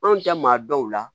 Anw tɛ maa dɔw la